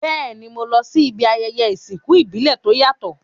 Béèni, mo lo si ibi ayẹyẹ ìsìnkú ìbílẹ̀ to yàtò